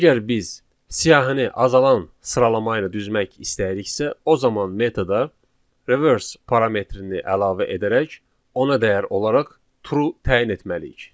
Əgər biz siyahını azalan sıralama ilə düzmək istəyiriksə, o zaman metoda reverse parametrini əlavə edərək ona dəyər olaraq true təyin etməliyik.